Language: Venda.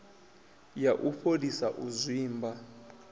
ya u fholisa u zwimba